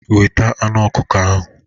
Weta anụ ọkukọ ahụ.